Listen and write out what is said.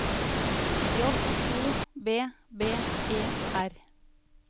J O B B E R